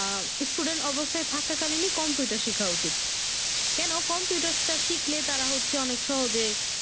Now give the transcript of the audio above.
আহ students অবস্থায় থাকাকালীনই computer শেখা উচিত কেনো computer টা শিখলে তারা হচ্ছে অনেক সহজে